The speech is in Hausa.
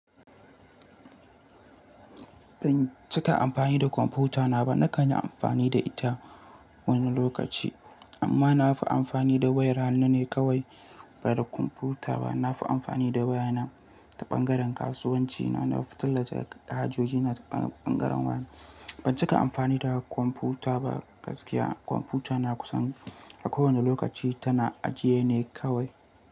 Ban cika amfani da kwamfutana ba. Nakan yi amfani da ita wani lokaci, amma na fi amfani da wayar hannu ne kawai ba da kwamfuta ba. Na fi amfani da wayana ta ɓangaren kasuwanci na. Na fi tallace hajoji na ta ɓangaren waya. Ban cika amfani da kwamfuta ba gaskiya. Kwamfutana kusan a kowane lokaci tana ajiye ne kawai.